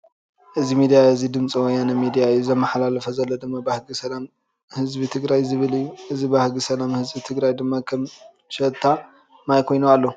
እዚ ምድያ እዚ ድምፂ ወያነ ምድያ እዩ። ዘመሓላልፎ ዘሎ ድማ ባህጊ ሰላም ህዝቢ ትግራይ ዝብል እዩ። እዚ ባህጊ ሰላም ህዝቢ ትግራይ ድማ ከም ሽታ ማይ ኮይኑ ኣሎ።